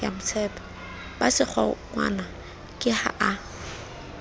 ba sekgowa ke ha a